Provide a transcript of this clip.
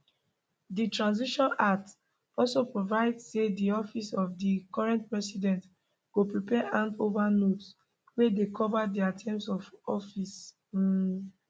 di transition act also provide say di office of di current president go prepare hand over notes wey dey cover dia term of office um